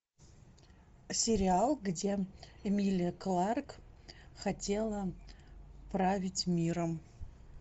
сериал где эмилия кларк хотела править миром